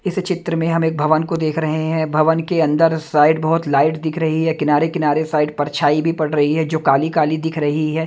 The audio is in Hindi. इस चित्र में हम एक भवन को देख रहे है भवन के अंदर शायद बहोत लाइट दिख रही है किनारे किनारे शायद परछाई भी पड़ रही है जो काली काली दिख रही है।